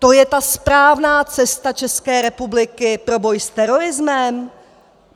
To je ta správná cesta České republiky pro boj s terorismem?